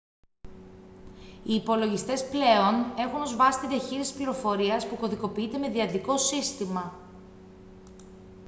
οι υπολογιστές πλέον έχουν ως βάση τη διαχείριση της πληροφορίας που κωδικοποιείται με δυαδικό σύστημα